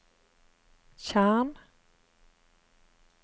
tjern